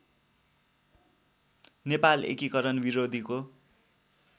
नेपाल एकीकरण विरोधीको